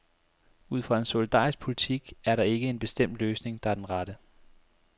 Ud fra en solidarisk politik er der ikke en bestemt løsning, der er den rette.